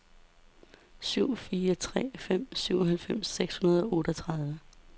syv fire tre fem syvoghalvtreds seks hundrede og otteogtredive